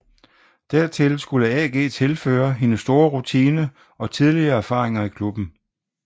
Dertil skulle AG tilføre hendes store rutine og tidligere erfaringer i klubben